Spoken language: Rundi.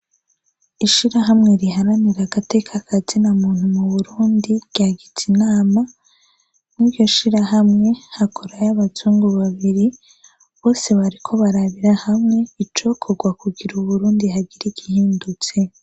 Ishirahamwe riharanira agateka kazinamuntu muburundi ryagize inama muri iryoshirahamwe hakorayo abazungu babiri bose bariko barabira hamwe icokorwa ngo kugira uburundi hagire igihindutse